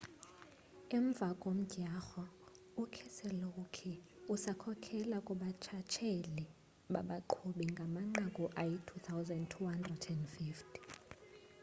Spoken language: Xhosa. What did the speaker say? emva komdyarho ukeselowski usakhokhela kubuntshatsheli babaqhubi ngamanqaku ayi-2,250